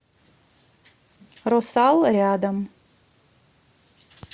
росал рядом